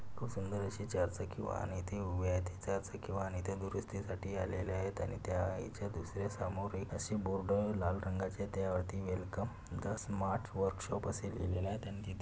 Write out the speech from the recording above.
खुप सुंदर अशी चार चाकी वाहन इथे उभी आहे आणि इथे दुरुस्ती साठी आलेले आहेत आणि त्या इथे दुसरे समोर एक अशी बोर्ड लाल रंगाचे त्या वरती वेलकम द स्मार्ट वर्कशॉप असेलिहिलेले आहे.